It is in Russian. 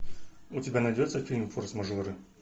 у тебя найдется фильм форс мажоры